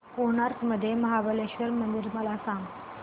गोकर्ण मधील महाबलेश्वर मंदिर मला सांग